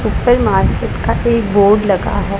उपर मार्केट का एक बोर्ड लगा हैं।